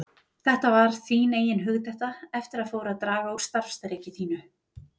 Þetta var þín eigin hugdetta eftir að fór að draga úr starfsþreki þínu.